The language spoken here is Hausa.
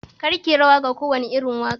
Kar kiyi rawa wa kowane irin waƙa